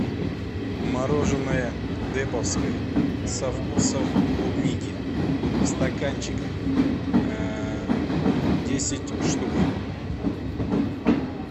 мороженое деповское со вкусом клубники в стаканчиках десять штук